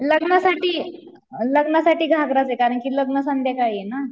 लग्नासाठी, लग्नासाठी घागराचे कारण कि लग्न संध्याकाळीये ना.